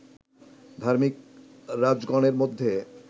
ধার্মিক রাজগণের মধ্যে